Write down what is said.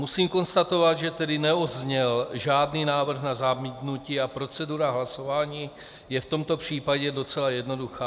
Musím konstatovat, že tedy nezazněl žádný návrh na zamítnutí a procedura hlasování je v tomto případě docela jednoduchá.